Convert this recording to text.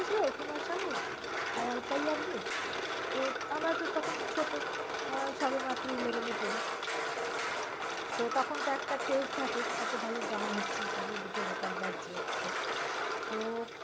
~কুমার শানুর, আলকা ইয়াগনিক তো আমরা তো তখন ছোট আহ সবে মাত্র eleven এ পড়ি। তখন তো একটা craze থাকে অত ভাল গান হচ্ছে। চতুর্দিকে record বাজছে তো